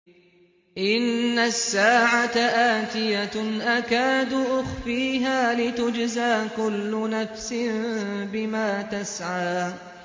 إِنَّ السَّاعَةَ آتِيَةٌ أَكَادُ أُخْفِيهَا لِتُجْزَىٰ كُلُّ نَفْسٍ بِمَا تَسْعَىٰ